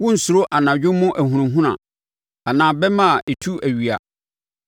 Worensuro anadwo mu ahunahuna, anaa bɛmma a ɛtu awia,